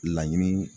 Laɲiniw